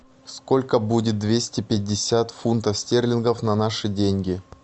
сколько будет двести пятьдесят фунтов стерлингов на наши деньги